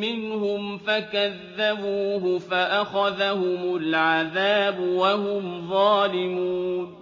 مِّنْهُمْ فَكَذَّبُوهُ فَأَخَذَهُمُ الْعَذَابُ وَهُمْ ظَالِمُونَ